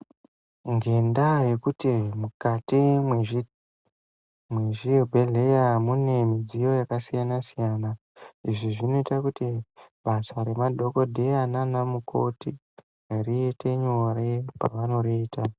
Nendaa yekuti mukati mezvibhehlera mune midziyo yakasiyana siyana ,izvi zvinoita kuti basa remadhokoteya naanamukoti riite nyore pavanoriita.